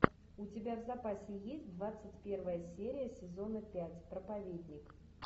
у тебя в запасе есть двадцать первая серия сезона пять проповедник